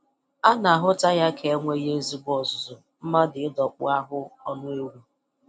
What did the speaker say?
A na-ahụta ya ka enweghị ezigbo ọzụzụ mmadụ ịdọkpụ ahụ ọnụ ewu